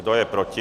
Kdo je proti?